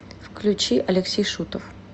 включи алексей шутов